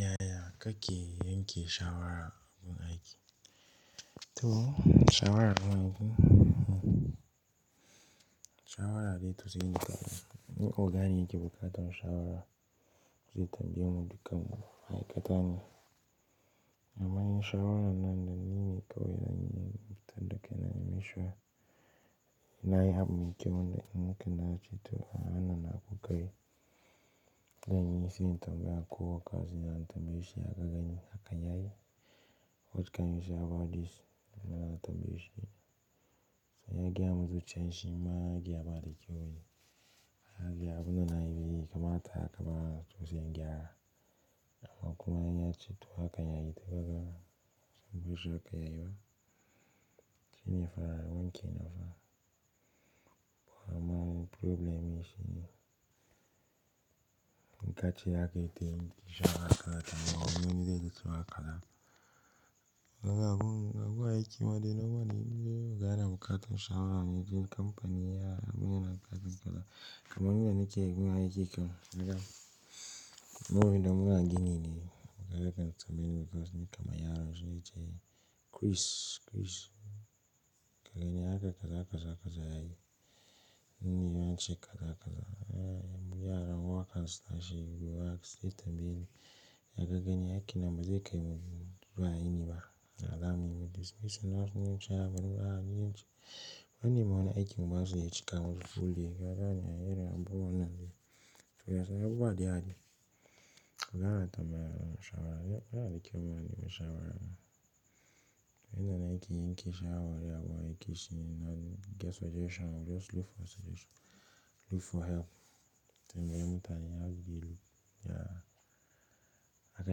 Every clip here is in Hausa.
Yaya kake yanke shawara gun aiki. Toh, shawara nawa yake? Shawara dai tushe ne kawai. In oga ne yake bukatar shawara, zai tmbayemu dukkanmu ma'aikata ne. Amma in shawarar nan da nine zan fitar da kaina ne in na shiga. Na yi abu mai kyau wanda in wanke na ce to wannan na abokai ne. Zanyi ne sai in tambaya ko ya ka gani hakan yayi? What can you say about this? Muna tambaye shi. Sai ya gaya min zuciyat shi ma ya gaya ba da kyau ne. Ya gaya abun da na yi bai kamata haka ba sai in gyara. Amma kuma in ya ce to hakan yayi to kaga. Saboda shakka ya yi ba. Shi ne fa wanke ni fa. Amma problem shi ne, in ka ce zaka yi tayi to shi aka kara taba wani zai ci suka hala. Gaba gaba kuwa aiki ma dai na wane gane bukata shawara ne. Jin kamfani ya kuma yana kasancewa. Kaman ni da nake gun aiki kan kaga. Mu idan muna gini ne. Gaba daka tambayi lokacin ne kamar yaron shine ce Chris, Chris. Ka gani haka kaza kaza yayi. Ni ban ce kaza kaza ba. Miyanar waka slash guragu zai tambayi. Ya gagganni aiki na mazaika ne ba a yi niba. Da alamar in ce a'a bari a'a ni zance na nemi wani aiki ma ban su ya zo ya cika min buɗe. Ka gane ai irin abubuwan nan ne. Yanzu abubuwa da yawa. Gaba dama yaron shawara. Ya da kyau ma na yi ma shawara. Ina na aiki yanke shawara. Ya kuwa aiki shi nan. Get suggestion. Just look for suggestion. Look for help. Tambayi mutane ya bi lu. Ya, haka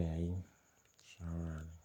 ya yi shawara ne.